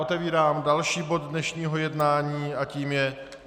Otevírám další bod dnešního jednání a tím je